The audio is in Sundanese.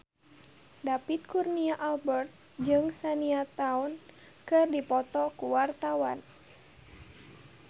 David Kurnia Albert jeung Shania Twain keur dipoto ku wartawan